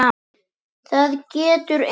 Það getur enginn.